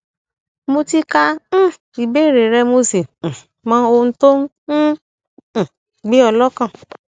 mo ti ka um ìbéèrè rẹ mo sì um mọ ohun tó ń um um gbé ọ lọkàn